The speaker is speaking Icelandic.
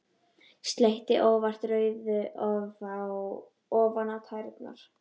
Sletti óvart rauðu ofan á tærnar.